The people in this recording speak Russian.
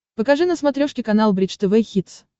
покажи на смотрешке канал бридж тв хитс